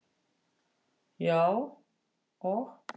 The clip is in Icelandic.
Já, og